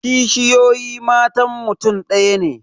Kishiyoyi matan mutum ɗaya ne